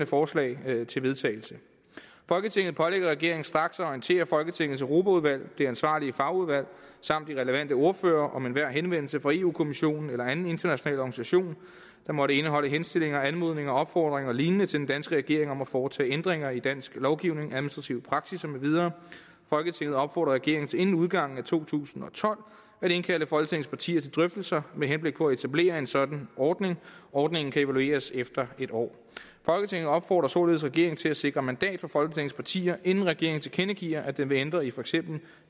forslag til vedtagelse folketinget pålægger regeringen straks at orientere folketingets europaudvalg det ansvarlige fagudvalg samt de relevante ordførere om enhver henvendelse fra europa kommissionen eller anden international organisation der måtte indeholde henstillinger anmodninger opfordringer og lignende til den danske regering om at foretage ændringer i dansk lovgivning administrative praksisser med videre folketinget opfordrer regeringen til inden udgangen af to tusind og tolv at indkalde folketingets partier til drøftelser med henblik på at etablere en sådan ordning ordningen kan evalueres efter en år folketinget opfordrer således regeringen til at sikre mandat fra folketingets partier inden regeringen tilkendegiver at den vil ændre i for eksempel